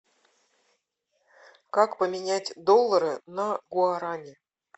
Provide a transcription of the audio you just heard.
как поменять доллары на гуарани